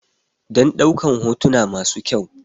Dan ɗaukan hotuna masu kyau